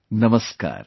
Namaskar